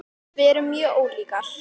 Við erum mjög ólíkar.